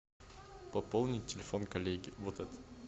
пополнить телефон коллеги вот этот